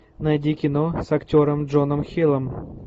найди кино с актером джоном хиллом